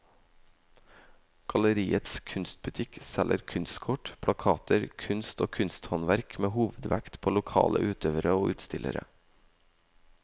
Galleriets kunstbutikk selger kunstkort, plakater, kunst og kunsthåndverk med hovedvekt på lokale utøvere og utstillere.